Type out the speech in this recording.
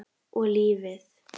Og lífið.